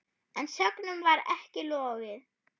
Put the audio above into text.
En sögnum var ekki lokið.